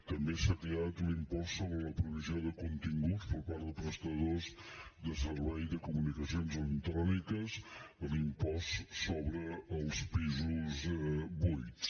també s’ha creat l’impost sobre la provisió de continguts per part de prestadors de serveis de comunicacions electròniques l’impost sobre els pisos buits